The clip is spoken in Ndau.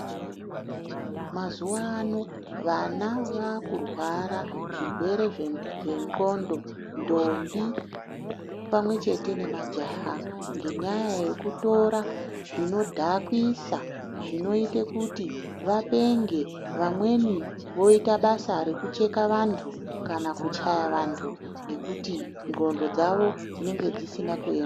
Mazuva ano vana vaakurwara zvirwere zvegqondo ndombi pamwe chete nemajaha ngenyaya yekutora zvinodhakwisa zvinoite kuti vapenge vamweni voita basa rokucheka wandu kana kuchaya vandu ngokuti gqondo dzavo dzinenge dzisina kuyema.